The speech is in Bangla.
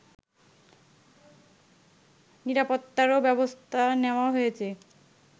নিরাপত্তারও ব্যবস্থা নেওয়া হয়েছে